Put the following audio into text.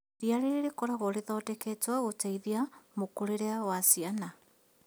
Iriia rĩrĩ rĩkoragwo rĩthondeketwo gũteithia mũkũrĩre wa ciana